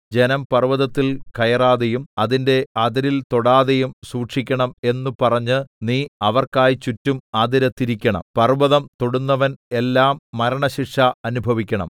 ജനം പർവ്വതത്തിൽ കയറാതെയും അതിന്റെ അതിരിൽ തൊടാതെയും സൂക്ഷിക്കണം എന്നു പറഞ്ഞ് നീ അവർക്കായി ചുറ്റും അതിര് തിരിക്കണം പർവ്വതം തൊടുന്നവൻ എല്ലാം മരണശിക്ഷ അനുഭവിക്കണം